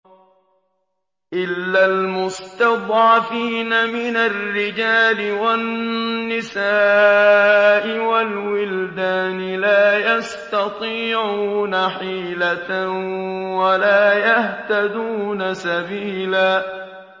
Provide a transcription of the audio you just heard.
إِلَّا الْمُسْتَضْعَفِينَ مِنَ الرِّجَالِ وَالنِّسَاءِ وَالْوِلْدَانِ لَا يَسْتَطِيعُونَ حِيلَةً وَلَا يَهْتَدُونَ سَبِيلًا